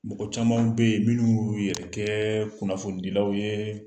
Mɔgɔ caman bɛ yen minnu y'u yɛrɛ kɛ kunnafonidilaw ye